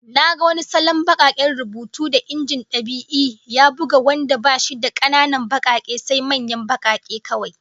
Na ga wani salon bakaken rubutu da injin dab'i ya buga wanda bashi da kananan bakake, sai manyan bakake kawai